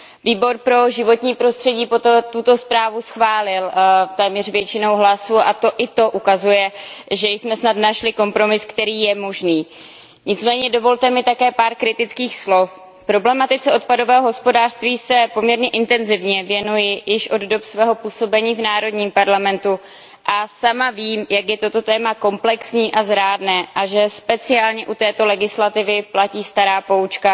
Výbor pro životní prostředí, veřejné zdraví a bezpečnost potravin proto tuto zprávu schválil téměř většinou hlasů a i to ukazuje, že jsme snad našli kompromis, který je možný. Nicméně dovolte mi také pár kritických slov. Problematice odpadového hospodářství se poměrně intenzivně věnuji již od dob svého působení v národním parlamentu a sama vím, jak je toto téma komplexní a zrádné a že speciálně u této legislativy platí stará poučka,